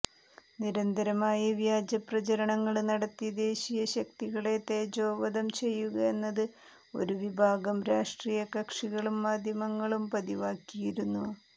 നിരന്തരമായി വ്യാജ പ്രചാരണങ്ങള് നടത്തി ദേശീയ ശക്തികളെ തേജോവധം ചെയ്യുക എന്നത് ഒരു വിഭാഗം രാഷ്ട്രീയ കക്ഷികളും മാധ്യമങ്ങളും പതിവാക്കിയിരിക്കുന്നു